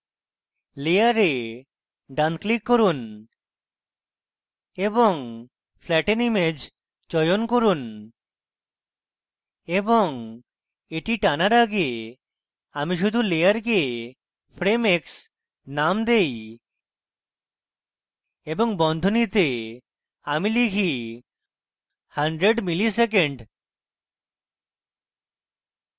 layer ডান click করুন এবং flatten image চয়ন করুন এবং এটি টানার আগে আমি শুধু layer frame x নাম দেই এবং বন্ধনীতে আমি type 100 milliseconds